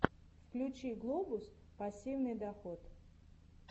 включи глобус пассивный доход